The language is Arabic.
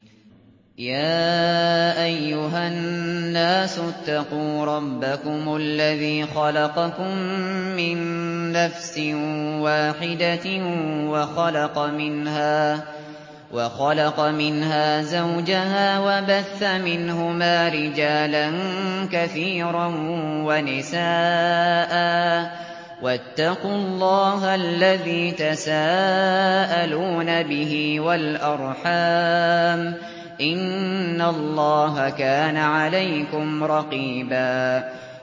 يَا أَيُّهَا النَّاسُ اتَّقُوا رَبَّكُمُ الَّذِي خَلَقَكُم مِّن نَّفْسٍ وَاحِدَةٍ وَخَلَقَ مِنْهَا زَوْجَهَا وَبَثَّ مِنْهُمَا رِجَالًا كَثِيرًا وَنِسَاءً ۚ وَاتَّقُوا اللَّهَ الَّذِي تَسَاءَلُونَ بِهِ وَالْأَرْحَامَ ۚ إِنَّ اللَّهَ كَانَ عَلَيْكُمْ رَقِيبًا